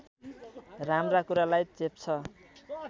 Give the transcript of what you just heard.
राम्रा कुरालाई चेप्छ